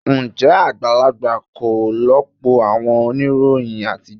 Ǹjẹ́ àgbàlagbà kọ́ lọ̀pọ̀ àwọn oníròyìn àtijọ́?